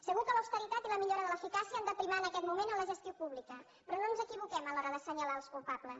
segur que l’austeritat i la millora de l’eficàcia han de primar en aquest moment en la gestió pública però no ens equivoquem a l’hora d’assenyalar els culpables